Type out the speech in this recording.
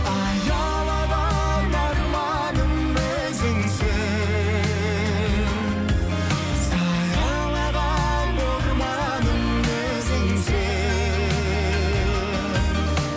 аялаған арманым өзіңсің саялаған орманым өзіңсің